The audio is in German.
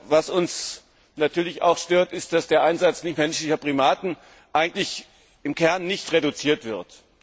Was uns natürlich auch stört, ist, dass der Einsatz nichtmenschlicher Primaten eigentlich im Kern nicht reduziert wird.